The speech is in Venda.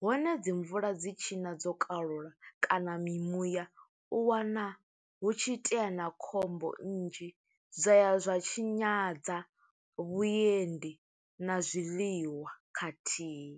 hone dzi mvula dzi tshi ṋa dzo kalula, kana mimuya, u wana hu tshi itea na khombo nnzhi. Zwa ya zwa tshinyadza vhuendi na zwiḽiwa khathihi.